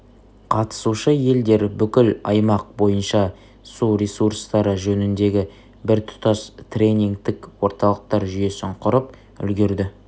қатысушы елдер бүкіл аймақ бойынша су ресурстары жөніндегі біртұтас тренингтік орталықтар жүйесін құрып үлгерді